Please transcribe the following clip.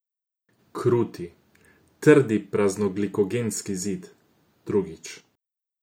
Kruti, trdi praznoglikogenski zid, drugič.